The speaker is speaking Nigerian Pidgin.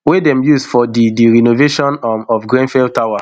wey dem use for di di renovation um of grenfell tower